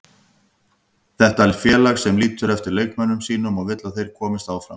Þetta er félag sem lítur eftir leikmönnum sínum og vill að þeir komist áfram.